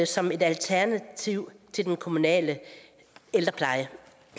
som et alternativ til den kommunale ældrepleje